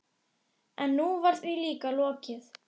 En nú var því líka lokið.